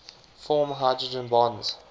form hydrogen bonds